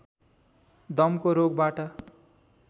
दमको रोगबाट